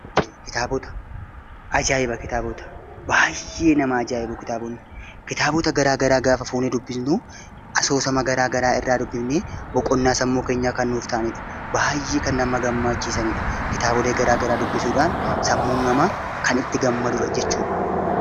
Kitaabota garaagaraa gaaf fuunee dubbifnu asoosama irraa dubbifnee boqonnaa sammuu keenyaa irraa arganna. Baay'ee kan nama gammachiisanidha kitaabolee garaagaraa dubbisuudhaan sammuun namaa kan itti gammadudha jechuudha.